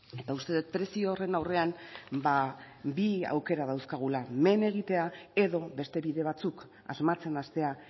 eta uste dut prezio horren aurrean bi aukera dauzkagula men egitea edo beste bide batzuk asmatzen hastea